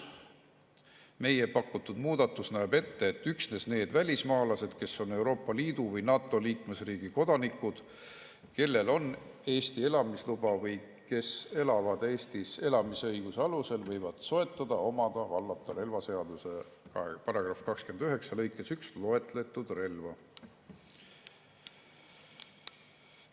Meie pakutud muudatus näeb ette, et üksnes need välismaalased, kes on Euroopa Liidu või NATO liikmesriigi kodanikud, kellel on Eesti elamisluba või kes elavad Eestis elamisõiguse alusel, võivad soetada, omada ja vallata relvaseaduse § 29 lõikes 1 loetletud relva.